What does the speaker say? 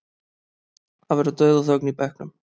Það verður dauðaþögn í bekknum.